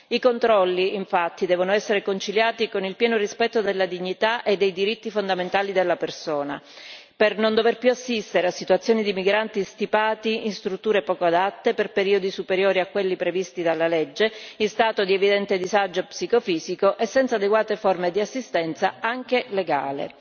I controlli, infatti, devono essere conciliati con il pieno rispetto della dignità e dei diritti fondamentali della persona, per non dover più assistere a situazioni di migranti stipati in strutture poco adatte per periodi superiori a quelli previsti dalla legge, in stato di evidente disagio psicofisico e senza adeguate forme di assistenza, anche legale.